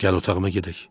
Gəl otağıma gedək.